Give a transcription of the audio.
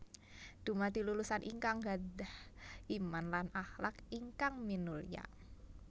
Dumadi lulusan ingkang gadhah Iman lan akhlak ingkang minulya